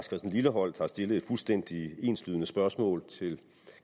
lilleholt har stillet et fuldstændig enslydende spørgsmål til